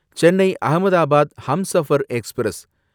Chennai Ahmedabad Humsafar express